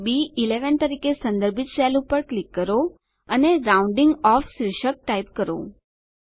હવે બી11 તરીકે સંદર્ભિત સેલ પર ક્લિક કરો અને રાઉન્ડિંગ ઓફ શીર્ષક ટાઈપ કરો